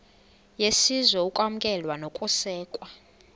yesizwe ukwamkelwa nokusekwa